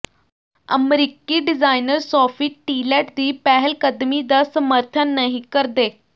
ਅਮਰੀਕੀ designer Sophie Tillett ਦੀ ਪਹਿਲਕਦਮੀ ਦਾ ਸਮਰਥਨ ਨਹੀਂ ਕਰਦੇ